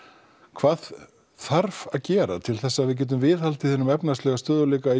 hvað þarf að gera til þess að við getum viðhaldið hinum efnahagslega stöðugleika í